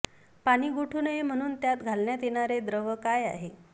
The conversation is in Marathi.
पाणी गोठू नये म्हणून त्यात घालण्यात येणारे द्रव्य काय आहे